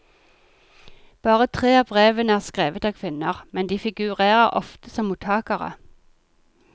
Bare tre av brevene er skrevet av kvinner, men de figurerer ofte som mottakere.